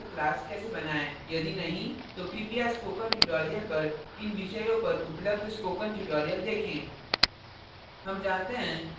यदि नहीं तो कृपया spoken tutorial पर इन विषयों पर उपलब्ध spoken tutorial देखें